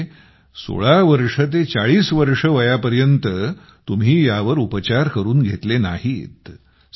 म्हणजे 16 वर्ष ते 40 वर्षे वयापर्यंत तुम्ही यावर उपचार करून घेतले नाहीत